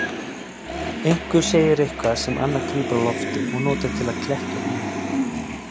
Einhver segir eitthvað sem annar grípur á lofti og notar til að klekkja á honum.